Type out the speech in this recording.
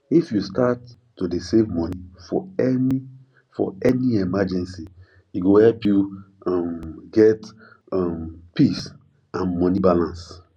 if you start to dey save money for any for any emergency e go help you um get um peace and money balance